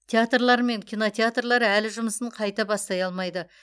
театрлар мен кинотеатрлар әлі жұмысын қайта бастай алмайды